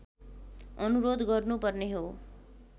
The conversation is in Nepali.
अनुरोध गर्नुपर्ने हो